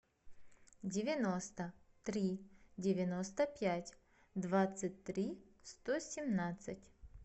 девяносто три девяносто пять двадцать три сто семнадцать